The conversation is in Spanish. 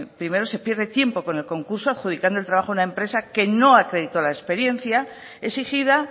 primero se pierde tiempo con el concurso adjudicando el trabajo a una empresa que no acreditó la experiencia exigida